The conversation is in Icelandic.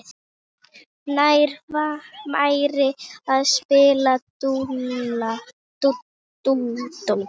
Nær væri að spila Lúdó.